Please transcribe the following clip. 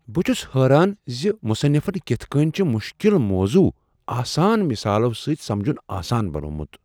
بہٕ چھس حیران زِ مصنفن کتھ کٔنۍ چھ مشکل موضوع آسان مثالو سۭتۍ سمجُن آسان بنوومت۔